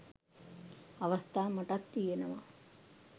අවස්ථා මටත් තියනවා.